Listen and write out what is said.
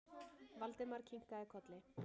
Valdimar kinkaði kolli.